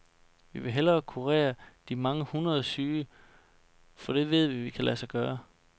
Vi vil hellere kurere de mange hundrede syge, for det ved vi kan lade sig gøre.